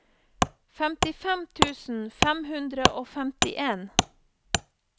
femtifem tusen fem hundre og femtien